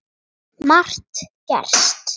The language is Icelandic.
Margt gerst.